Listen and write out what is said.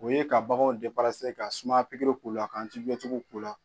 O ye ka baganw ka sumaya pikiri k'u la ka k'u la